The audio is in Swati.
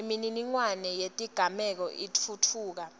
imininingwane yetigameko itfutfuka